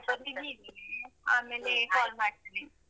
ಸ್ವಲ busy ಇದ್ದೀನಿ ಆಮೇಲೆ.